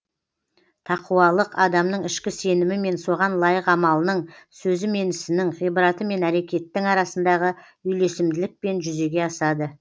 тақуалық адамның ішкі сенімі мен соған лайық амалының сөзі мен ісінің ғибраты мен әрекеттің арасындағы үйлесімділікпен жүзеге асады